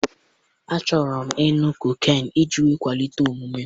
Achọrọ m ịṅụ koken iji kwalite omume m.